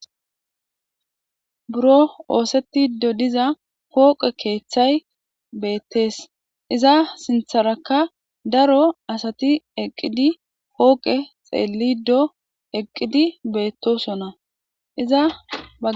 buro oosetti dodiza hooqe keeththay beettees iza sintharakka daro asati eqqidi hooqe xeellido eqqidi beettosonna izaa